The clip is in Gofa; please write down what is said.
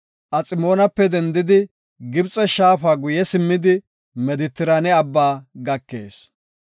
Aximoonape dendidi Gibxe shaafa guye simmidi Medetiraane Abbaa gakees.